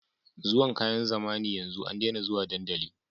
Zuwan kayan zamani yanzu an dena zuwa dandali